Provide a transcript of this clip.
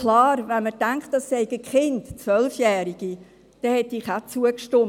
Klar: Wenn man denkt, es seien Kinder, Zwölfjährige, dann hätte ich auch zugestimmt.